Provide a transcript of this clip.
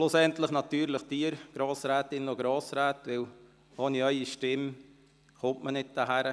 Schlussendlich danke ich Ihnen, den Grossrätinnen und Grossräten, denn ohne Ihre Stimmen kommt man nicht hierhin.